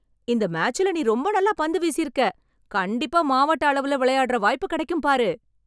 இந்த மேச்சுல நீ ரொம்ப நல்லா பந்து வீசியிருக்க. கண்டிப்பா மாவட்ட அளவுல விளையாடுற வாய்ப்புக் கிடைக்கும் பாரு.